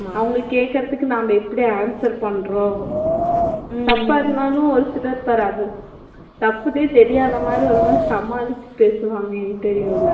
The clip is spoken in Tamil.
அவங்க கேக்குறதுக்கு நாம்ப எப்படி answer பண்றோம் தப்பா இருந்தாலும் ஒருசிலர் அது தப்புன்னே தெரியாத மாதிரி ஒரு மாதிரி சமாலிச்சு பேசுவாங்க interview ல